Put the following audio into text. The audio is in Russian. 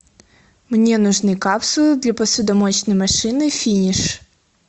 мне нужны капсулы для посудомоечной машины финиш